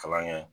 Kalan kɛ